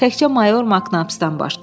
Təkcə mayor Maknapsdan başqa.